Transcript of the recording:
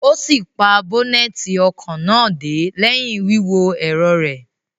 O si pa boneti ọkọ náà dé lẹhin wíwo ẹrọ rẹ